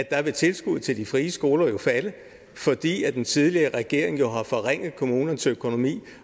er at tilskuddet til de frie skoler vil falde fordi den tidligere regering jo har forringet kommunernes økonomi